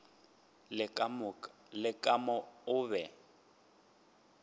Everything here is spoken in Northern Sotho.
le ka moka o be